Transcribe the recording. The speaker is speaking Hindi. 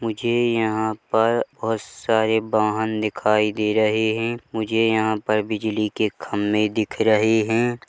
मुझे यहाँ पर बोहत सारे वाहन दिखाई दे रहे है मुझे यहां पर बिजली के खंबे दिख रहे हैं ।